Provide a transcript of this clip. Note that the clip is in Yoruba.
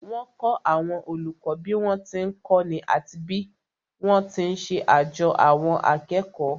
Wọ́n kọ́ àwọn olùkọ́ bí wọ́n ti ń kọ́ni àti bí wọ́n ti ń ṣe àjo àwọn akẹ́kọ̀ọ́